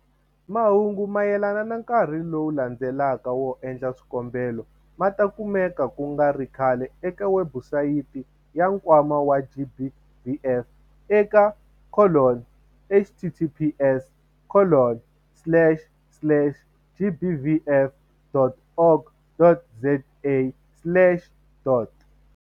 Mahungu mayelana na nkarhi lowu landzelaka wo endla swikombelo ma ta kumeka ku nga ri khale eka webusayiti ya Nkwama wa GBVF eka- https- gbvf.org.za.